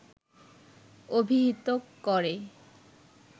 অভিহিত করে